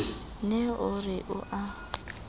ne o re o a